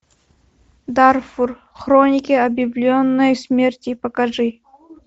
дарфур хроники объявленной смерти покажи